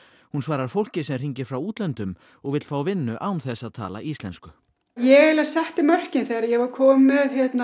hún svarar fólki sem hringir frá útlöndum og vill fá vinnu án þess að tala íslensku ég eiginlega setti mörkin þegar ég var komin með